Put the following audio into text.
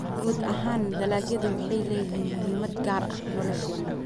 Guud ahaan, dalagyadu waxay leeyihiin muhiimad gaar ah nolosheena.